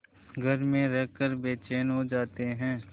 घर में रहकर बेचैन हो जाते हैं